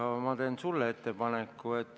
Aga ma teen sulle ettepaneku.